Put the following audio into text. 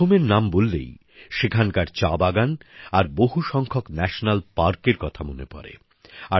অসমের নাম বললেই সেখানকার চা বাগান আর বহু সংখ্যক জাতীয় উদ্যানের কথা মনে পড়ে